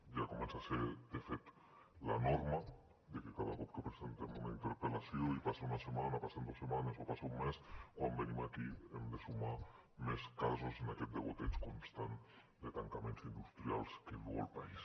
ja comença a ser de fet la norma de que cada cop que presentem una interpel·lació i passa una setmana passen dues setmanes o passa un mes quan venim aquí hem de sumar més casos en aquest degoteig constant de tancaments industrials que viu el país